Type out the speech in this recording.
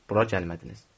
Bura gəlmədiniz.